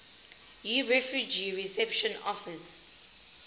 yirefugee reception office